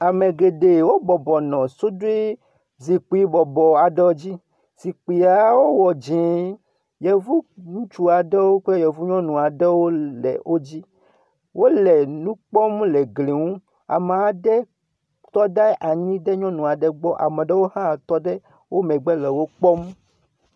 Ame geɖe wo bɔbɔnɔ suɖui zikpui bɔbɔ aɖewo dzi, zikpuiawo wɔ dz. Yevu ŋutsu kple yevu nyɔnu aɖewo le wo dzi, wole nu kpɔm le gli ŋu. Ame aɖe trɔ ɖe nyɔnu aɖe gbɔ, ame aɖewo hã tɔ ɖe wo megbe le wo kpɔm